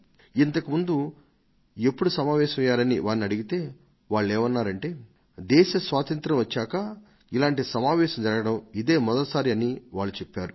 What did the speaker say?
ఇంతకు ముందు ఎప్పుడు సమావేశమయ్యారని అడిగితే వాళ్లు ఏమన్నారంటే దేశ స్వాతంత్ర్యం వచ్చాక ఇలాంటి సమావేశం జరగడం ఇదే మొదటి సారి అని చెప్పారు